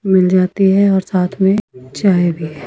मिल जाती है और साथ में चाय भी--